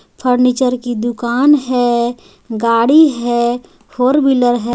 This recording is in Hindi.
फर्नीचर की दुकान है गाड़ी है फोर व्हीलर है.